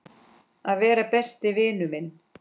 Að vera besti vinur minn.